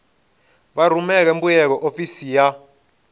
vha rumele mbuyelo ofisini ya